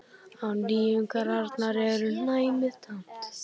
Á nýjungarnar er næmið tamt.